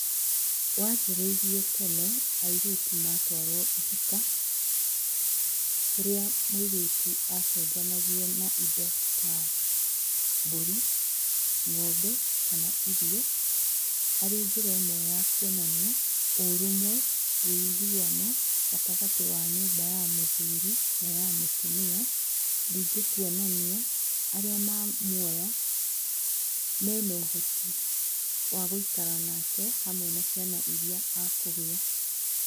Wanjĩrĩirie tene airĩtu matwarwo ihika, kũrĩa mũirĩtu acenjanagio na indo ta mbũri, ng'ombe kana irio arĩ njĩra ĩmwe ya kwonania ũrũmwe, wũiguano gatagatĩ wa nyũmba ya mũthuri na ya mũtumia, ningĩ kwonania arĩa ma mwoya mena ũhoro wa gũikara nake hamwe na ciana iria akũgĩa.